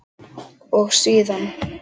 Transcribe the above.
og síðan